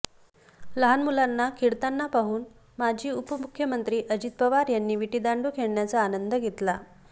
लहान मुलांना खेळताना पाहून माजी उपमुख्यमंत्री अजित पवार यांनी विटी दांडू खेळण्याचा आनंद घेतला